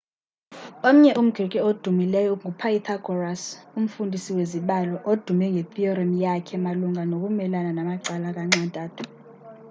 omnye umgrike odumileyo ngu-pythagoras umfundisi wezibalo odume ngethiyorem yakhe malunga nokumelana namacala kanxa-ntathu